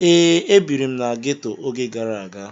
Ee, ebiri m na ghetto oge gara aga.